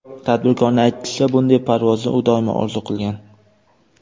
Tadbirkorning aytishicha, bunday parvozni u doimo orzu qilgan.